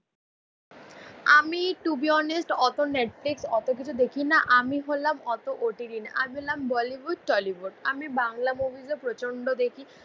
আমি to be honest অত Netflix অতকিছু দেখি না আমি হলাম অত OTT না আমি হলাম বলিউড টলিউড আমি বাংলা মুভিস ও প্রচণ্ড দেখি